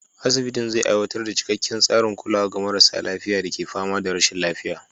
Asibitin zai aiwatar da cikakken tsarin kulawa ga marasa lafiya da ke fama da rashin lafiya.